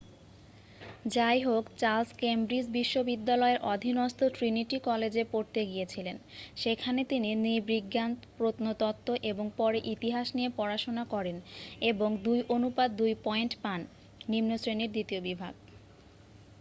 যাইহোক Charles Cambridge বিশ্ববিদ্যালয়ের অধীনস্থ ট্রিনিটি কলেজে পড়তে গিয়েছিলেন। সেখানে তিনি নৃবিজ্ঞান প্রত্নতত্ত্ব এবং পরে ইতিহাস নিয়ে পড়াশোনা করেন এবং ২:২ পয়েন্ট পান নিম্ন শ্রেণীর দ্বিতীয় বিভাগ